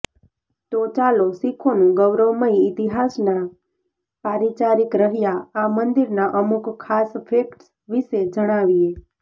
તો ચાલો સીખોનું ગૌરવમયી ઈતિહાસનાં પારીચારિક રહ્યા આ મંદિર ના અમુક ખાસ ફેકટ્સ વિશે જણાવીએ